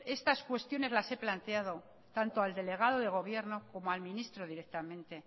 estas cuestiones las he planteado tanto al delegado de gobierno como al ministro directamente